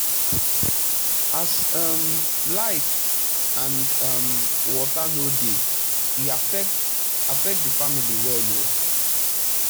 as um light and um water no dey e affect affect the family well o